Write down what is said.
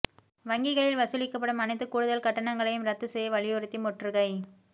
வங்கிகளில் வசூலிக்கப்படும் அனைத்து கூடுதல் கட்டணங்களையும் ரத்து செய்ய வலியுறுத்தி முற்றுகை